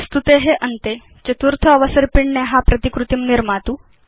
प्रस्तुते अन्ते चतुर्थ अवसर्पिण्या प्रतिकृतिं निर्मातु